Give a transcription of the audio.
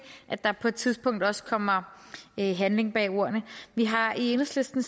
at der på et tidspunkt også kommer handling bag ordene vi har i enhedslisten